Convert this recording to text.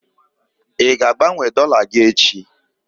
Ị ga-agbanwe dọla gị echi?